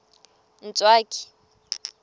ntswaki